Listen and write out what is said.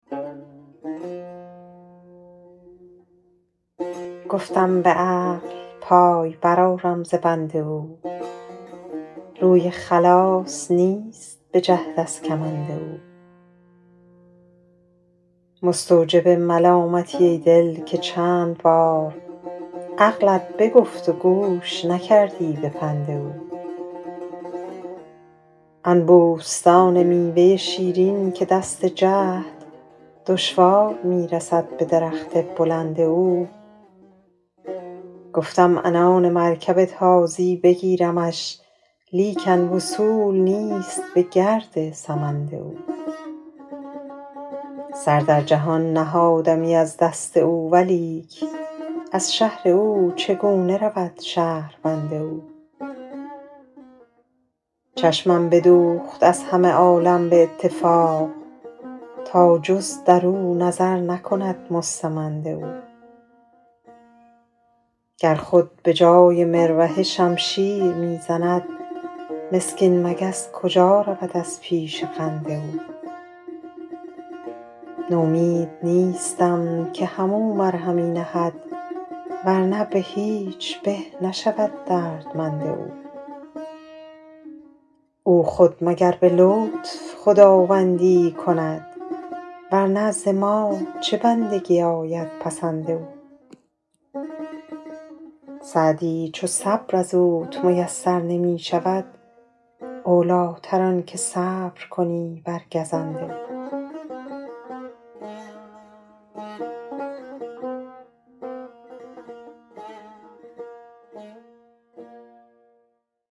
گفتم به عقل پای برآرم ز بند او روی خلاص نیست به جهد از کمند او مستوجب ملامتی ای دل که چند بار عقلت بگفت و گوش نکردی به پند او آن بوستان میوه شیرین که دست جهد دشوار می رسد به درخت بلند او گفتم عنان مرکب تازی بگیرمش لیکن وصول نیست به گرد سمند او سر در جهان نهادمی از دست او ولیک از شهر او چگونه رود شهربند او چشمم بدوخت از همه عالم به اتفاق تا جز در او نظر نکند مستمند او گر خود به جای مروحه شمشیر می زند مسکین مگس کجا رود از پیش قند او نومید نیستم که هم او مرهمی نهد ور نه به هیچ به نشود دردمند او او خود مگر به لطف خداوندی ای کند ور نه ز ما چه بندگی آید پسند او سعدی چو صبر از اوت میسر نمی شود اولی تر آن که صبر کنی بر گزند او